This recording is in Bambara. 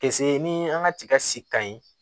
ni an ka tigasi kan ɲi